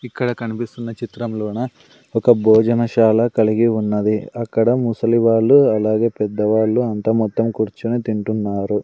ఇక్కడ కనిపిస్తున్న చిత్రంలోన ఒక భోజనశాల కలిగి ఉన్నది అక్కడ ముసలి వాళ్లు అలాగే పెద్దవాళ్లు అంతా మొత్తం కూర్చుని తింటున్నారు.